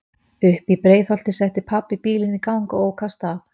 Uppí Breiðholti setti pabbi bílinn í gang og ók af stað.